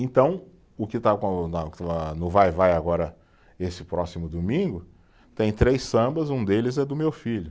Então, o que está com o na, no Vai-Vai agora, esse próximo domingo, tem três sambas, um deles é do meu filho.